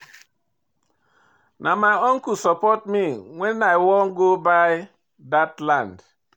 Na my uncle support me wen I wan go buy dat land.